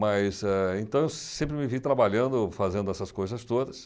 Mas, eh então, eu sempre me vi trabalhando, fazendo essas coisas todas,